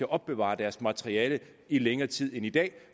opbevare deres materiale i længere tid end i dag